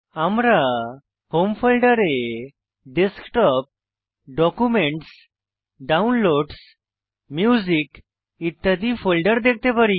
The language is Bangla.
আমরা হোম ফোল্ডারে আমরা ডেস্কটপ ডকুমেন্টস ডাউনলোডসহ মিউজিক ইত্যাদি ফোল্ডার দেখতে পারি